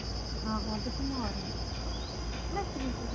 ਆਹੋ ਆਂਹਦੀ ਬਿਮਾਰ ਹੋ ਗਿਆ ਨਾ ਕੀ .